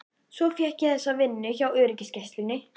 Svo fékk ég þessa vinnu hjá öryggisgæslunni.